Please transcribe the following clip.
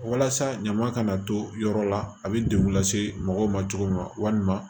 Walasa ɲaman kana to yɔrɔ la a bɛ degun lase mɔgɔw ma cogo min walima